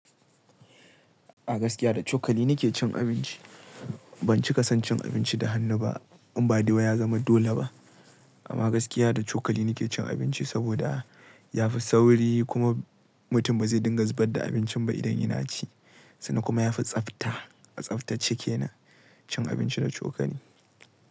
A gaskiya da cokali nake cin abinci. Ban cika son cin abinci da hannu ba, inba dai wai ya zama dole ba. Amma gaskiya da cokali nake cin abinci saboda yafi sauri kuma mutum ba zai dinga zubar da abincin ba idan yana ci. Sannan kuma yafi tsabta. A tsabtace kaina, cin abinci da cokali.